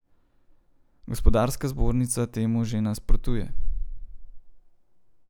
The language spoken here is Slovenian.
Gospodarska zbornica temu že nasprotuje.